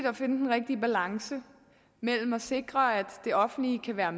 at finde den rigtige balance mellem at sikre at det offentlige kan være